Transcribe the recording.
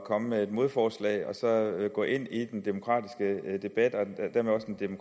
komme med et modforslag og gå ind i den demokratiske debat